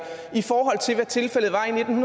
i forhold til hvad tilfældet var i nitten